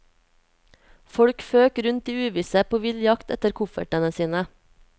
Folk føk rundt i uvisse på vill jakt etter koffertene sine.